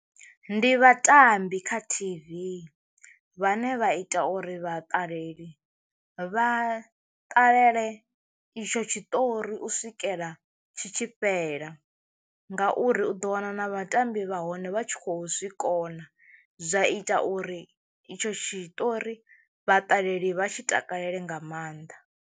Ndi vhatambi kha T_V vhane vha ita uri vhaṱaleli vha ṱalele itsho tshiṱori u swikela tshi tshi fhela, ngauri u ḓo wana na vhatambi vha hone vha tshi kho zwikona zwa ita uri itsho tshiṱori vhaṱaleli vha tshi takalele nga maanḓa.